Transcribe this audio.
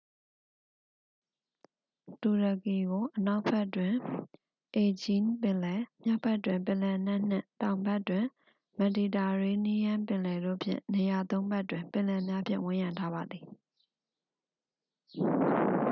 တူရကီကို အနောက်ဘက်တွင် aegean ပင်လယ် မြောက်ဘက်တွင် ပင်လယ်နက်နှင့် တောင်ဘက်တွင် မက်ဒီတာရေးနီးယန်းပင်လယ်တို့ဖြင့် နေရာသုံးဖက်တွင် ပင်လယ်များဖြင့် ဝန်းရံထားပါသည်